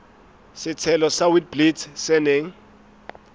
setshelo sa witblits se neng